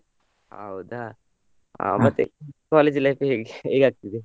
ಹೌದಾ ಅಹ್ ಮತ್ತೆ college life ಹೇಗೆ ಹೇಗಾಗ್ತದೆ ಆಗ್ತದೆ?